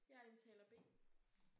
Jeg er taler B